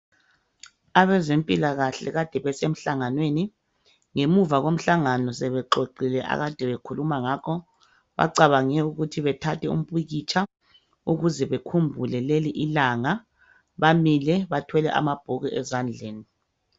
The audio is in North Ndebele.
abezempilakahle kade besemhlanganweni ngemuva komhlangano sebexoxile akade bekhuluma ngakho bacabange ukuba bethathe umpikitsha ukuze bekhumbule leli langa baile bathwele amabhuku ezandleni.